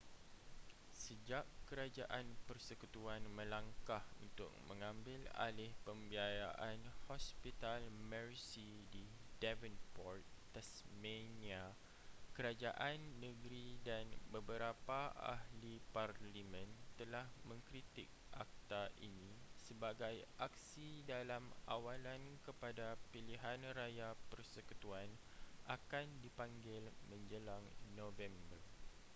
sejak kerajaan persekutuan melangkah untuk mengambil alih pembiayaan hospital mersey di devonport tasmania kerajaan negeri dan beberapa ahli parlimen telah mengkritik akta ini sebagai aksi dalam awalan kepada pilihan raya persekutuan akan dipanggil menjelang november